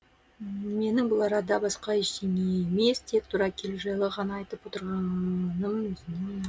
менің бұл арада басқа ештеңе емес тек тура келу жайлы ғана айтып отырғаным